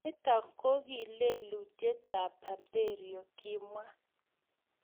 "Nitok ko ki lelutietab berberio"kimwa